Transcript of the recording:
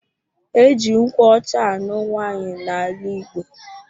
Eji nkwụ ọcha anụ nwaanyi na ala igbo.